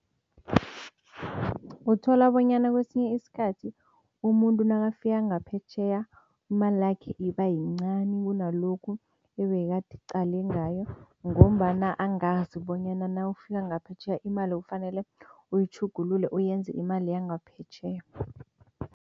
Uthola bonyana kwesinye isikhathi umuntu nakafika ngaphetjheya imalakhe iba yincani kunalokho ebekaqale ngayo ngombana angazi bonyana nawufika ngaphetjheya imali kufanele uyitjhugululele, uyenze imali yangaphetjheya.